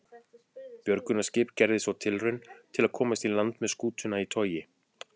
Björgunarskip gerði svo tilraun til að komast í land með skútuna í togi.